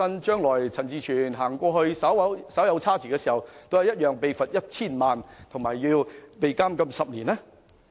將來如果陳志全議員在當地稍為行差踏錯，是否亦同樣會遭罰款 1,000 萬元及監禁10年？